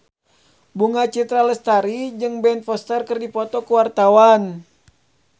Bunga Citra Lestari jeung Ben Foster keur dipoto ku wartawan